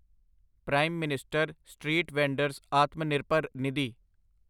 prime minister street vendor's Atmanirbhar Nidhi